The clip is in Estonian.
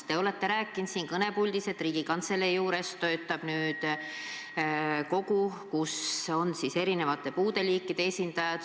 Te olete siin kõnepuldis rääkinud, et Riigikantselei juures töötab nüüd nõukogu, kus on erinevate puudeliikide esindajad.